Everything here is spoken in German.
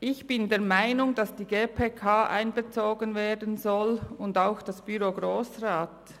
Ich bin der Meinung, dass die GPK einbezogen werden soll und auch das Büro des Grossen Rats.